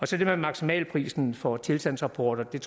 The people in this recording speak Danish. til det med maksimalprisen for tilstandsrapporter vil